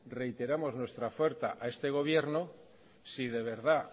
reiteramos nuestra oferta a este gobierno si de verdad